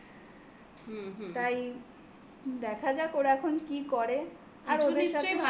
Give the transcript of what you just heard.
তাই দেখা যাক ওরা এখন কি করে